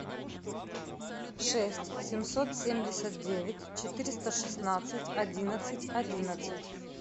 шесть семьсот семьдесят девять четыреста шестнадцать одиннадцать одиннадцать